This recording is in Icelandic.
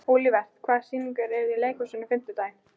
Olivert, hvaða sýningar eru í leikhúsinu á fimmtudaginn?